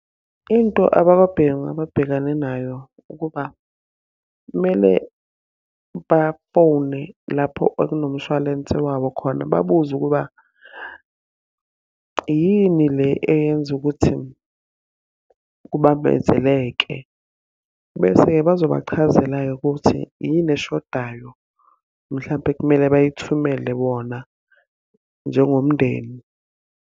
Into abakwaBhengu ababhekane nayo ukuba kumele bafone lapho ekunomshwalense wabo khona babuze ukuba, yini le eyenza ukuthi kubambezeleke. Bese-ke bazobachazela-ke ukuthi, yini eshodayo. Mhlampe kumele bayithumele wona njengomndeni.